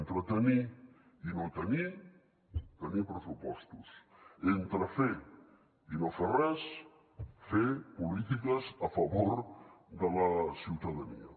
entre tenir i no tenir tenir pressupostos entre fer i no fer res fer polítiques a favor de la ciutadania